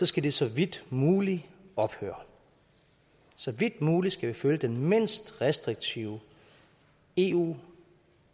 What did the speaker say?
skal det så vidt muligt ophøre så vidt muligt skal vi følge den mindst restriktive eu